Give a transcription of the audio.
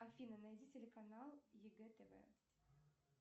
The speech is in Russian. афина найди телеканал егэ тв